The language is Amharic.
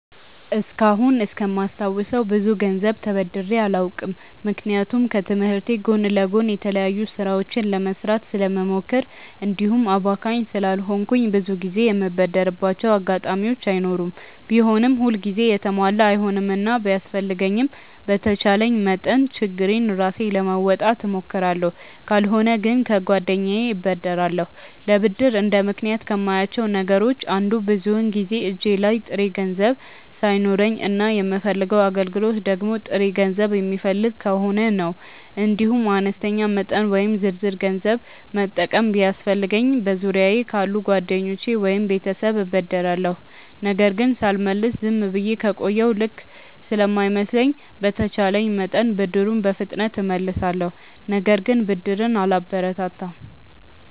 እስካሁን እስከማስታውሰው ብዙ ገንዘብ ተበድሬ አላውቅም። ምክንያቱም ከትምህርቴ ጎን ለጎን የተለያዩ ስራዎችን ለመስራት ስለምሞክር እንዲሁም አባካኝ ስላልሆንኩ ብዙ ጊዜ የምበደርባቸው አጋጣሚዎች አይኖሩም። ቢሆንም ሁል ጊዜ የተሟላ አይሆንምና ቢያስፈልገኝም በተቻለኝ መጠን ችግሬን ራሴ ለመወጣት እሞክራለሁ። ካልሆነ ግን ከጓደኛዬ እበደራለሁ። ለብድር እንደ ምክንያት ከማያቸው ነገሮች አንዱ ብዙውን ጊዜ እጄ ላይ ጥሬ ገንዘብ ሳይኖረኝ እና የምፈልገው አገልግሎት ደግሞ ጥሬ ገንዘብ የሚፈልግ ከሆነ ነው። እንዲሁም አነስተኛ መጠን ወይም ዝርዝር ገንዘብ መጠቀም ቢያስፈልገኝ በዙሪያየ ካሉ ጓደኞቼ ወይም ቤተሰብ እበደራለሁ። ነገር ግን ሳልመልስ ዝም ብዬ ከቆየሁ ልክ ስለማይመስለኝ በተቼለኝ መጠን ብድሩን በፍጥነት እመልሳለሁ። ነገር ግን ብድርን አላበረታታም።